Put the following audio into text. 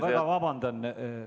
Ma palun vabandust!